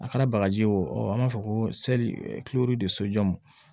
A kɛra bagaji ye o an b'a fɔ ko de sojɔ